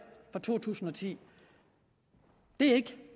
for to tusind og ti det er